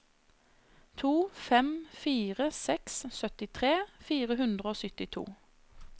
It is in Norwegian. to fem fire seks syttitre fire hundre og syttito